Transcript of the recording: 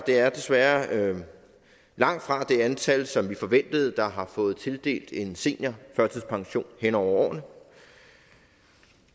er desværre langt fra det antal som vi forventede der har fået tildelt en seniorførtidspension hen over årene